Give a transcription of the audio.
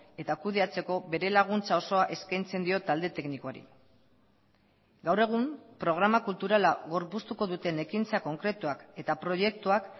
eta kudeatzeko bere laguntza osoa eskaintzen diot talde teknikoari gaur egun programa kulturala gorpuztuko duten ekintza konkretuak eta proiektuak